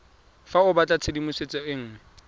fa o batlatshedimosetso e nngwe